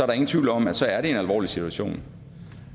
der ingen tvivl om at så er det en alvorlig situation